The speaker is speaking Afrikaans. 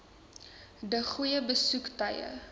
de goeie besoektye